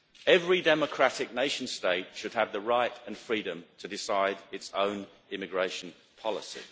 Every democratic nation state should have the right and freedom to decide its own immigration policy.